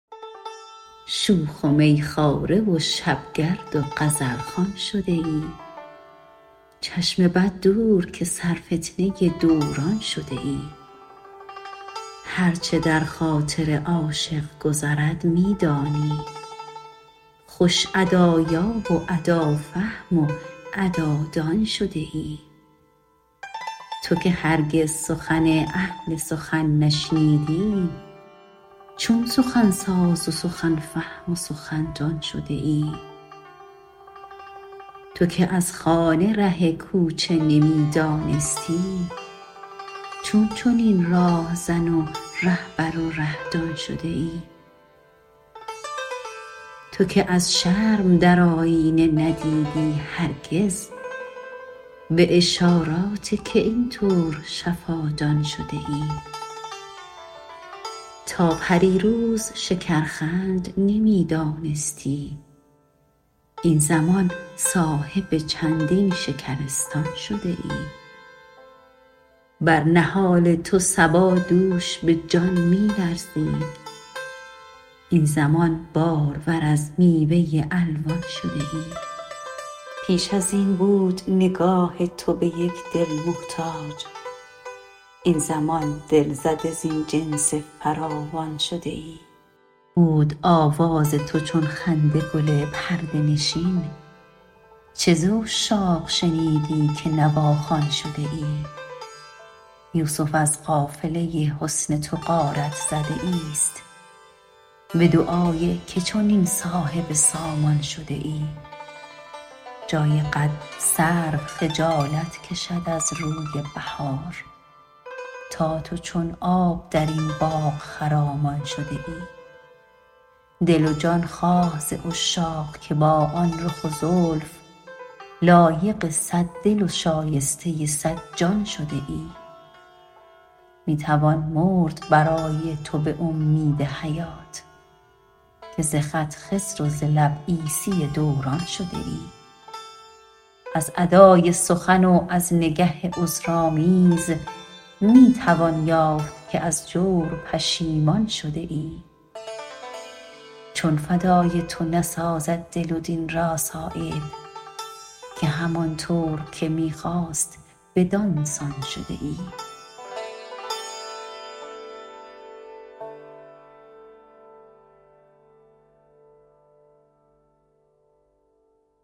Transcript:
شوخ و میخواره و شبگرد و غزلخوان شده ای چشم بد دور که سرفتنه دوران شده ای هر چه در خاطر عاشق گذرد می دانی خوش ادایاب و ادافهم و ادادان شده ای تو که هرگز سخن اهل سخن نشنیدی چون سخنساز و سخن فهم و سخندان شده ای تو که از خانه ره کوچه نمی دانستی چون چنین راهزن و رهبر و ره دان شده ای تو که از شرم در آیینه ندیدی هرگز به اشارات که این طور شفادان شده ای تا پریروز شکرخند نمی دانستی این زمان صاحب چندین شکرستان شده ای بر نهال تو صبا دوش به جان می لرزید این زمان بارور از میوه الوان شده ای پیش ازین بود نگاه تو به یک دل محتاج این زمان دلزده زین جنس فراوان شده ای بود آواز تو چون خنده گل پرده نشین چه ز عشاق شنیدی که نواخوان شده ای یوسف از قافله حسن تو غارت زده ای است به دعای که چنین صاحب سامان شده ای جای قد سرو خجالت کشد از روی بهار تا تو چون آب درین باغ خرامان شده ای دل و جان خواه ز عشاق که با آن رخ و زلف لایق صد دل و شایسته صد جان شده ای می توان مرد برای تو به امید حیات که ز خط خضر و ز لب عیسی دوران شده ای از ادای سخن و از نگه عذرآمیز می توان یافت که از جور پشیمان شده ای چون فدای تو نسازد دل و دین را صایب که همان طور که می خواست بدانسان شده ای